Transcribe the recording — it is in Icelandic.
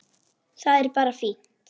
Það er bara fínt.